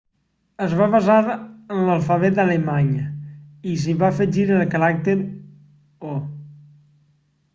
es va basar en l'alfabet alemany i s'hi va afegir el caràcter õ/õ